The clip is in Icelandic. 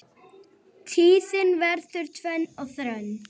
Tíðin verður tvenn og þrenn.